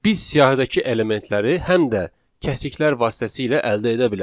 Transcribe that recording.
Biz siyahıdakı elementləri həm də kəsiklər vasitəsilə əldə edə bilərik.